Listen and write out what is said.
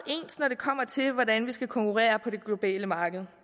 ens når det kommer til hvordan vi skal konkurrere på det globale marked